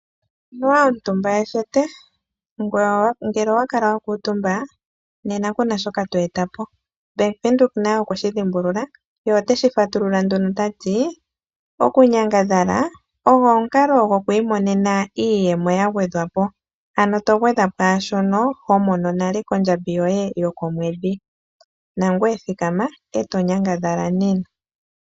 Anuwa omutumba ethete ko kutya ngele owa kala wa kuutumba kuna shoka to eta po. Ombanga yaVenduka nayo oyeshi dhimbulula na otayi shi fatulula nduno tayi ti," okunyangadhala ogo omukalo gokwiimonena iiyemo yagwedhwapo ano to gwedha kwaashono ho mono nale kondjambi yoye yokomwedhi."